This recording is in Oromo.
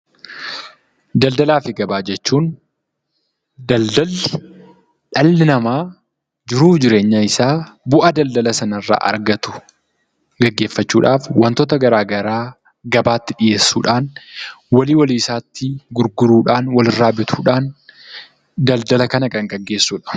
Daldalaa fi gabaa jechuun daldalli, dhalli nama jiruu fi jireenya isa bu'aa daldala sanarra argatu geggeeffachuudhaf wantoota garaagaraa gabaatti dhi'eessudhan, walii walii isaatti gurguruudhan, walirra bituudhan daldala kana kan geggeessuudha.